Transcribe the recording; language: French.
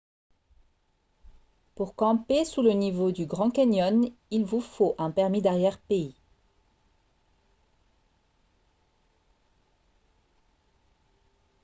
pour camper sous le niveau du grand canyon il vous faut un permis d'arrière-pays